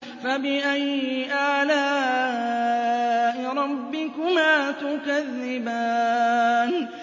فَبِأَيِّ آلَاءِ رَبِّكُمَا تُكَذِّبَانِ